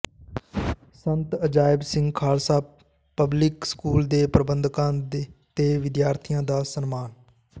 ਸੰਤ Ajaib Singh Khalsa public school ਦੇ ਪ੍ਰਬੰਧਕਾਂ ਤੇ ਵਿਦਿਆਰਥੀਆਂ ਦਾ ਸਨਮਾਨ